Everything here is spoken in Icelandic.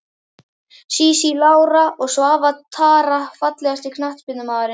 Sísí Lára og Svava Tara Fallegasti knattspyrnumaðurinn?